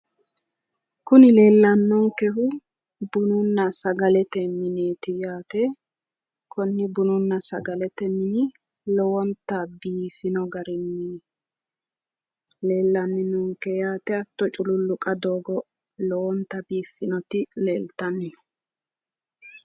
Kuni leellannonkehu bununna sagalete mineeti yaate, kuni bununna sagalete mine lowonta biifino garinni leellanni noonke yaate hattono, culuulluqa doogo lowonta biiffinoti leeltanni no.